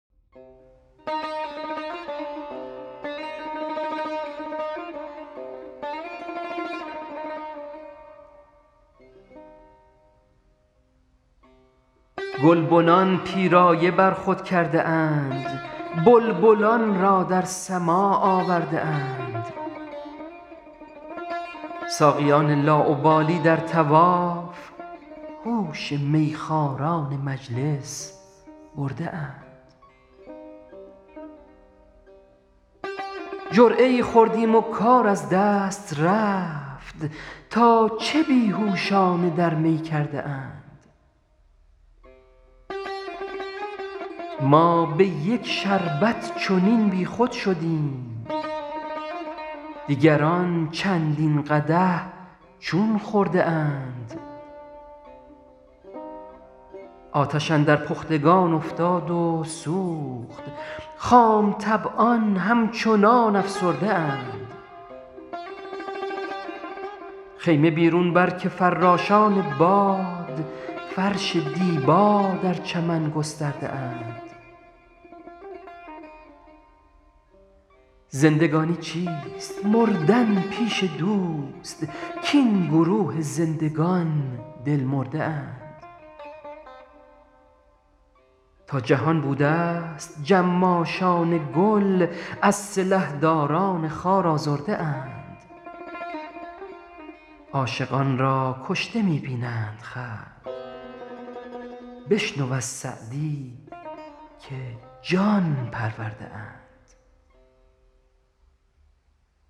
گلبنان پیرایه بر خود کرده اند بلبلان را در سماع آورده اند ساقیان لاابالی در طواف هوش میخواران مجلس برده اند جرعه ای خوردیم و کار از دست رفت تا چه بی هوشانه در می کرده اند ما به یک شربت چنین بیخود شدیم دیگران چندین قدح چون خورده اند آتش اندر پختگان افتاد و سوخت خام طبعان همچنان افسرده اند خیمه بیرون بر که فراشان باد فرش دیبا در چمن گسترده اند زندگانی چیست مردن پیش دوست کاین گروه زندگان دل مرده اند تا جهان بودست جماشان گل از سلحداران خار آزرده اند عاشقان را کشته می بینند خلق بشنو از سعدی که جان پرورده اند